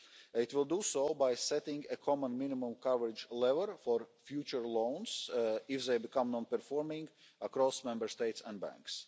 It will do so by setting a common minimum coverage level for future loans if they become non performing across Member States and banks.